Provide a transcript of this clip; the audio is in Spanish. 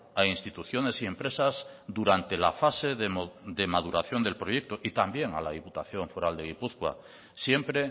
a instituciones y empresas durante la fase de maduración del proyecto y también a la diputación foral de gipuzkoa siempre